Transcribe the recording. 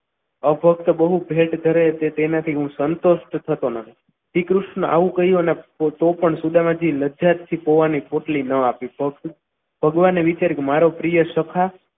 અપક્ષ બૌ ભેટ કરે કે તેના થી હું સંતોષ થતો નથી શ્રીકૃષ્ણએ આવું કહ્યું તો પણ સુદામા જી લજ્જા થી પૌવાની પોટલી ના આપી ભગવાને વિચાર્યું કે મારો પ્રિય સખા